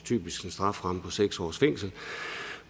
typisk en strafferamme på seks års fængsel